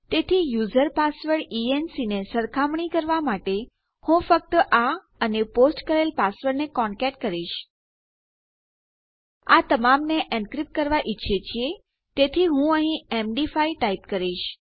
તેથી user password ENC ને સરખામણી કરવા માટે હું ફક્ત આ અને પોસ્ટ કરેલ પાસવર્ડ ને કોનકેટ કરીશ આ તમામને એનક્રીપ્ટ કરવાં ઈચ્છીએ છીએ તેથી હું અહીં એમડી5 ટાઈપ કરીશ